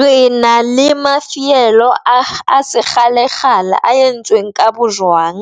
Re na le mafielo a se kgale kgale a entsweng ka bojwang,